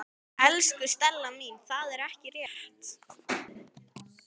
Elsku Stella mín, það er ekki rétt.